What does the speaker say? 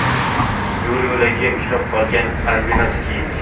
Yo‘l-yo‘lakay uchrab qolgan albinos kiyik.